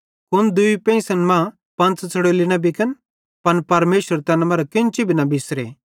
कुन दूई पेंइसन मां पंच़ च़ड़ोली न बिकन पन परमेशर तैन मरां केन्ची भी न बिसरे